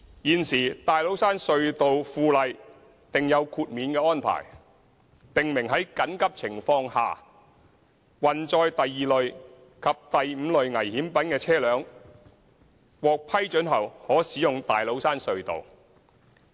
現時《大老山隧道附例》訂有豁免安排，訂明在緊急情況下，運載第二類及第五類危險品的車輛，獲批准後可使用大老山隧道。